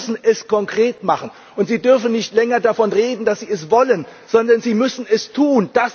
Aber Sie müssen es konkret machen, und Sie dürfen nicht länger davon reden, dass Sie es wollen, sondern Sie müssen es tun.